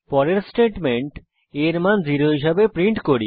পরবর্তী statement a এর মান 0 হিসাবে প্রিন্ট করে